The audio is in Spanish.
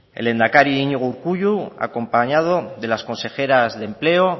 el lehendakari iñigo urkullu acompañado de las consejeras de empleo